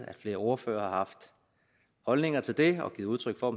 at flere ordførere har haft holdninger til det og givet udtryk for